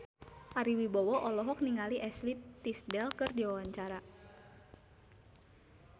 Ari Wibowo olohok ningali Ashley Tisdale keur diwawancara